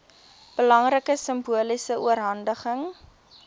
belangrike simboliese oorhandiging